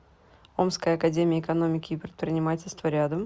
омская академия экономики и предпринимательства рядом